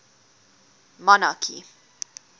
monarchy